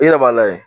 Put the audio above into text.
I yɛrɛ b'a lajɛ